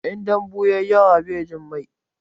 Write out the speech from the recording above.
In dambu ya yi yawa bai jin mai.